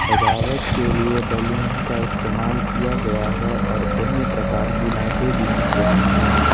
सजावट के लिए बैलून का इस्तेमाल किया गया है और भिन्न प्रकार की लाइटें भी दिख रही हैं।